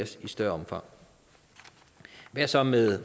større omfang hvad så med